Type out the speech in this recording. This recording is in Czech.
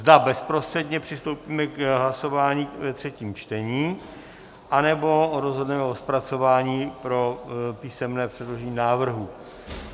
Zda bezprostředně přistoupíme k hlasování ve třetím čtení, anebo rozhodneme o zpracování pro písemné předložení návrhu.